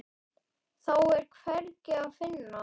Þá er hvergi að finna.